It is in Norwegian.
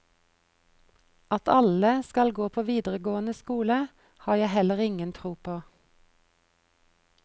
At alle skal gå på videregående skole, har jeg heller ingen tro på.